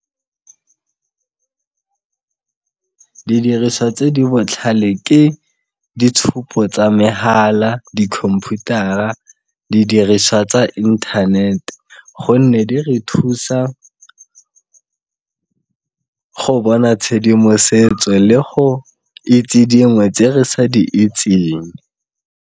Didiriswa tse di botlhale ke ditshupo tsa megala, dikhomphutara, didiriswa tsa internet gonne di re thusa go bona tshedimosetswe le go itse dingwe tse re sa di itseng.